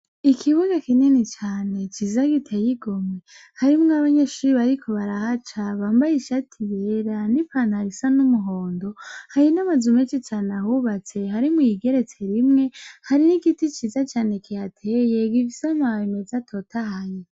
Ikigo gifis' ikibuga kinini cane ciza gitey' igomwe, harimw' abanyeshure bariko baratambuka bambay' ishati yera n' ipantaro cank' ijipo bis' umuhondo, hari n 'amazu mensh' ahubatse hari n' iyigeretse rimwe, ifise n inkingi zera, hari n' igiti ciza cane kihateye gifis' amababi mez' atotahaye.